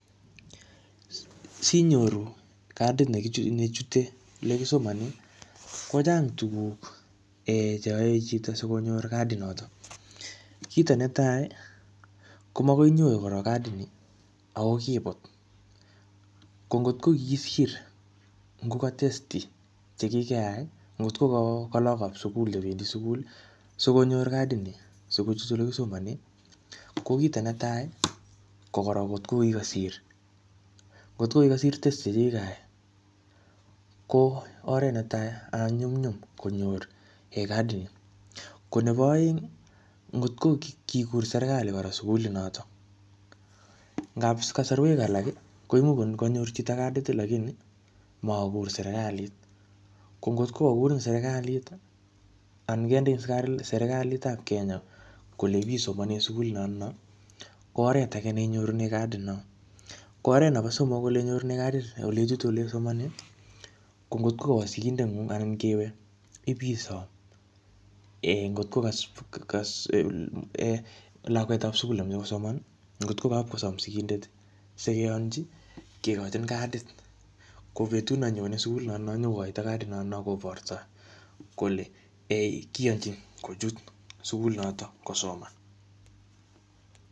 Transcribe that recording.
Sinyoru cadit ne chute ole kisomone, ko chang tukuk um che yoe chito sikonyor cadi noto, kito ne tai ko makoinyoru korok cadini ako kibut, ko ngot ko kisir ngo ka testi che kikeai ii, ngot ko ka lagokab sukul chebendi sukul ii sikonyor cadini sikochut ole kisomone, ko kito ne tai ii, ko korok ngot ko kikosir , ngot ko kikosir testi che kikai ko oret ne tai um nyumnyum konyor um cadini, ko nebo oeng ii, ngot ko kikur serikali kora sukulinoto, ngap kasarwek alak ii koimuch ko kanyor chito cadit lakini makur serikalit, ko ngot ko kakurin serikalit ii anan kendein serikalitab Kenya kole ip isomone sukuli notno, ko oret ake neinyorune cadinot, ko oret nebo somok oleinyorune cadit oleichute oleisomone, ko ngot kowo sigindengung anan kewe ip isom [um]ngot ko ka lakwetab sukul nemoche kosomn ii, ngotko kapkosom sigindet ii sikeyonchi, kikochin cadit ko betut nanyone sukulinotno nyokokoito cadinotno kobortoi kole um kiyonchin kochut sukulit notok kosoman.